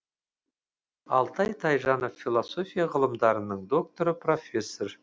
алтай тайжанов философия ғылымдарының докторы профессор